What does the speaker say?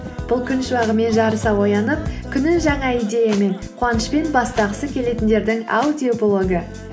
бұл күн шуағымен жарыса оянып күнін жаңа идеямен қуанышпен бастағысы келетіндердің аудиоблогы